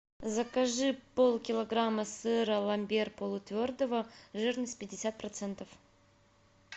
закажи полкилограмма сыра ламбер полутвердого жирность пятьдесят процентов